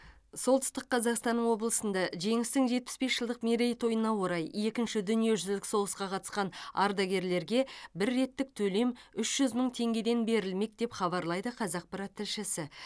солтүстік қазақстан облысында жеңістің жетпіс бес жылдық мерейтойына орай екінші дүниежүзілік соғысқа қатысқан ардагерлерге бір реттік төлем үш жүз мың теңгеден берілмек деп хабарлайды қазақпарат тілшісі